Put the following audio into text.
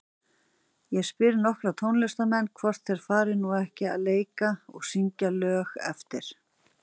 Ég spyr nokkra tónlistarmenn, hvort þeir fari nú ekki að leika og syngja lög eftir